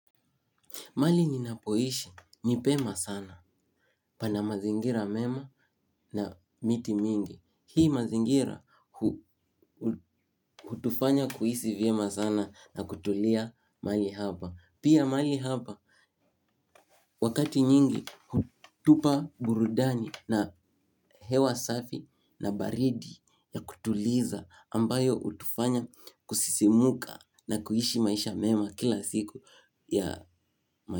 Mahali ninapoishi ni pema sana pana mazingira mema na miti mingi. Hii mazingira hutufanya kuhisi vyema sana na kutulia mahali hapa. Pia mahali hapa wakati nyingi hutupa burudani na hewa safi na baridi ya kutuliza ambayo hutufanya kusisimuka na kuishi maisha mema kila siku ya mazingira.